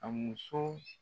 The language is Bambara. A muso